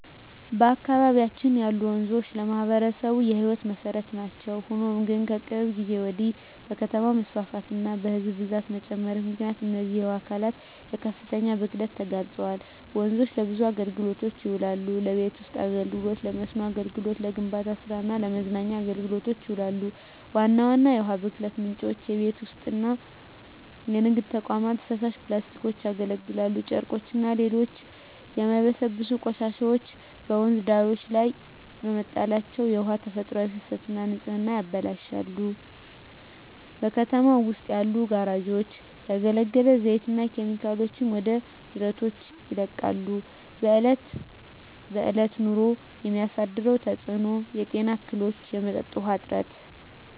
በአካባቢያችን ያሉ ወንዞች ለማኅበረሰቡ የሕይወት መሠረት ናቸው። ሆኖም ግን፣ ከቅርብ ጊዜ ወዲህ በከተማ መስፋፋትና በሕዝብ ብዛት መጨመር ምክንያት እነዚህ የውሃ አካላት ለከፍተኛ ብክለት ተጋልጠዋል። ወንዞች ለብዙ አገልግሎቶች ይውላሉ። ለቤት ውስጥ አገልግሎ፣ ለመስኖ አገልግሎት፣ ለግንባታ ስራ እና ለመዝናኛ አገልግሎቶች ይውላሉ። ዋና ዋና የውሃ ብክለት ምንጮች:- የቤት ውስጥና የንግድ ተቋማት ፍሳሽ፣ ፕላስቲኮች፣ ያገለገሉ ጨርቆችና ሌሎች የማይበሰብሱ ቆሻሻዎች በወንዝ ዳርቻዎች ላይ መጣላቸው የውሃውን ተፈጥሯዊ ፍሰትና ንጽህና ያበላሻሉ። በከተማው ውስጥ ያሉ ጋራዦች ያገለገለ ዘይትና ኬሚካሎችን ወደ ጅረቶች ይለቃሉ። በእለት በእለት ኑሮ የሚያሳድረው ተጽኖ:- የጤና እክሎች፣ የመጠጥ ውሀ እጥረት…